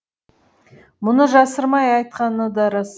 мұны жасырмай айтқаны да рас